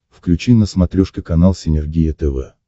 включи на смотрешке канал синергия тв